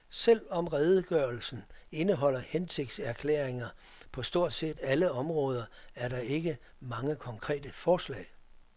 Selv om redegørelsen indeholder hensigtserklæringer på stort set alle områder, er der ikke mange konkrete forslag.